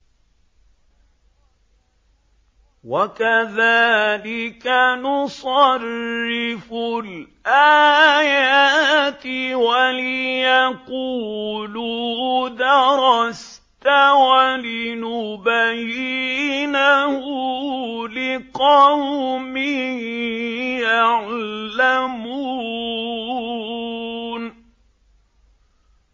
وَكَذَٰلِكَ نُصَرِّفُ الْآيَاتِ وَلِيَقُولُوا دَرَسْتَ وَلِنُبَيِّنَهُ لِقَوْمٍ يَعْلَمُونَ